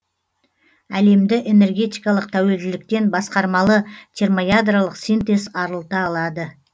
әлемді энергетикалық тәуелділіктен басқармалы термоядролық синтез арылта алады